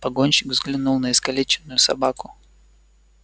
погонщик взглянул на искалеченную собаку